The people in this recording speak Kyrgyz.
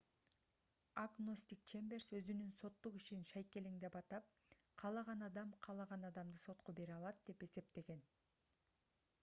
агностик чемберс өзүнүн соттук ишин шайкелең деп атап каалаган адам каалаган адамды сотко бере алат деп эсептеген